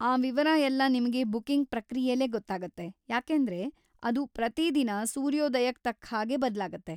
ಆ ವಿವರ ಎಲ್ಲ ನಿಮ್ಗೆ ಬುಕ್ಕಿಂಗ್‌ ಪ್ರಕ್ರಿಯೆಲೇ ಗೊತ್ತಾಗತ್ತೆ, ಯಾಕೆಂದ್ರೆ ಅದು ಪ್ರತಿದಿನ ಸೂರ್ಯೋದಯಕ್ ತಕ್ಕ್‌ಹಾಗೆ ಬದ್ಲಾಗತ್ತೆ.